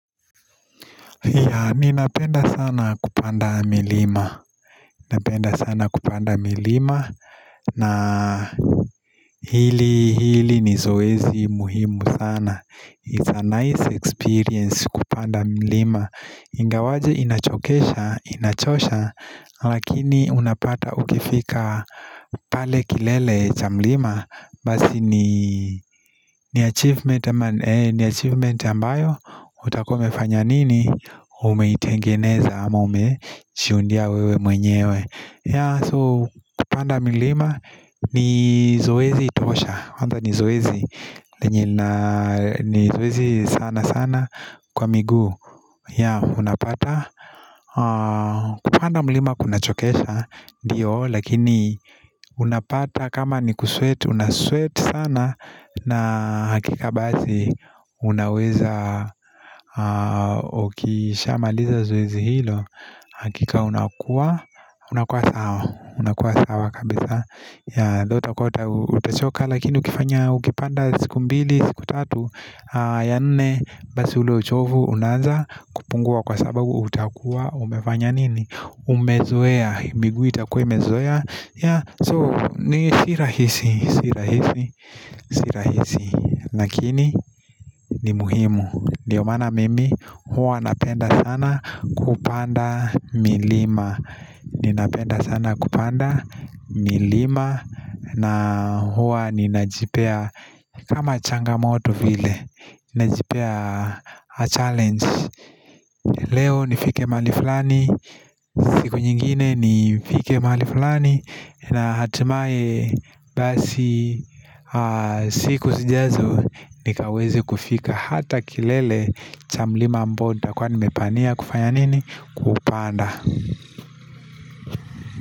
Ninapenda sana kupanda milima Napenda sana kupanda milima na hili hili ni zoezi muhimu sana It's a nice experience kupanda milima Ingawaje inachokesha, inachosha Lakini unapata ukifika pale kilele cha mlima Basi ni achievement ambayo utakua umefanya nini umeitengeneza ama umejiundia wewe mwenyewe so kupanda milima ni zoezi tosha, ama ni zoezi ni zoezi sana sana kwa miguu unapata kupanda milima kunachokesha ndiyo lakini unapata kama ni kusweat unasweat sana na hakika basi unaweza ukishamaliza zoezi hilo hakika unakua unakua sawa unakua sawa kabisa ndio utakuwa utachoka Lakini ukifanya ukipanda siku mbili siku tatu ya nne basi ule uchovu Unaanza kupungua kwa sababu utakuwa umefanya nini Umezoea So ni si rahisi Si rahisi Si rahisi Lakini ni muhimu ndio maana mimi huwa napenda sana kupanda milima Ninapenda sana kupanda milima na huwa ninajipea kama changamoto vile Ninajipea a challenge Leo nifike mahali fulani siku nyingine nifike mahali fulani na hatimaye basi siku sijazo nikaweze kufika hata kilele cha mlima mbota Kwa nimepania kufanya nini? Kupanda.